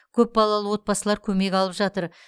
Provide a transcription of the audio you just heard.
көпбалалы отбасылар көмек алып жатыр